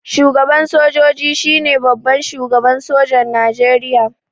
Shugaban sojoji shine babban shugaban sojan Nijeriya